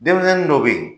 Denmisɛnnin dɔ bɛ yen